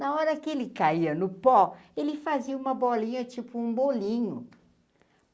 Na hora que ele caia no pó, ele fazia uma bolinha tipo um bolinho.